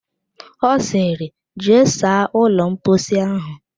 Ọ sịrị, jee saa ụlọ mposi ahụ!